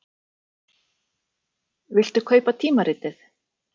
Viltu kaupa tímaritið?